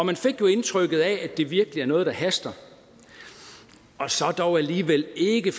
man fik jo indtrykket af at det virkelig er noget der haster og så dog alligevel ikke